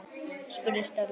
spurði Stella.